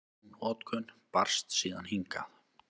Sú notkun barst síðan hingað.